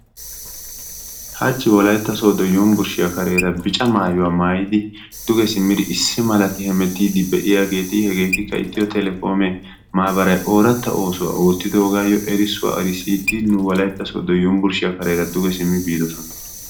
Hachchi Wolaytta Sooddo Yunbberssiya kareera bicca maayuwaa maayyidi duge simmidi issi malti hemettide de'iyaageeti hegetikka Etiyo Telekome maabaray oorata oosuwaa ootidoogayyo erissuwa erssidi nu wolaytta Sooddo Yunbburshshiya kareera duge biiddossona.